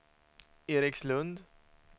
Erikslund